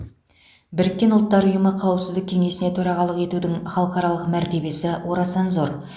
біріккен ұлттар ұйымы қауіпсіздік кеңесіне төрағалық етудің халықаралық мәртебесі орасан зор